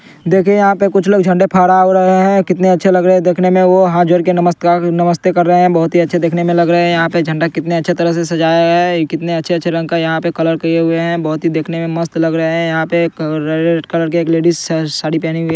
देखिए यहां पर कुछ लोग झंडे फहरा रहे हैं। कितने अच्छे लग रहे हैं? देखने में वह हाथ जोड़कर नमस्कार नमस्ते कर रहे हैं। बहोत ही अच्छे दिखने में लग रहे हैं। यहां पे झंडा कितने अच्छे तरह से सजाया है? कितने अच्छे अच्छे रंग का यहां पर कलर किए हुए हैं? बहोत ही देखने में मस्त लग रहे हैं यहां पर रेड कलर के एक लेडिस साड़ी पहने हुए